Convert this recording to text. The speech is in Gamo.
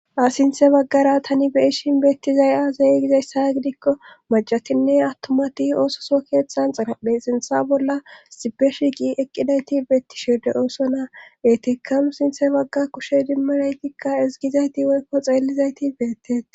asinthe baggara tani beishin beettizay aazayi gizayssa gidikko macatinne awtomati oososo keeththan xirapphe sintha bolla sipe shiqi eqqidayti beettishide ooso naa etekamu sinthe bagga kushe dimmanaytikka ezgizayti woykko xeellizayti beettet